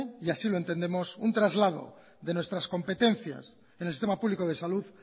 y así lo entendemos un traslado de nuestras competencias en el sistema público de salud